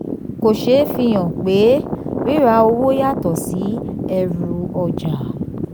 kò ṣeé fi hàn pé rírà owó yàtọ̀ sí ẹrú-ọjà.